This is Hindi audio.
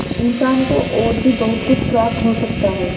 इंसान को और भी बहुत कुछ प्राप्त हो सकता है